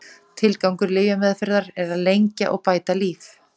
Tilgangur lyfjameðferðar er að lengja og bæta líf.